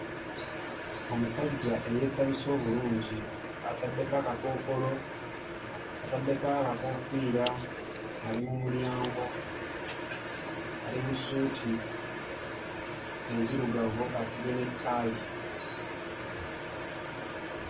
Omusajja eyeesabise obulungi ataddeko akakookolo, ataddeko akakoofiira, ali mu mulyango, ali mu ssuuti enzirugavu asibye n'ettaayi.